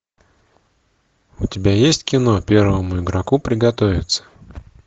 у тебя есть кино первому игроку приготовиться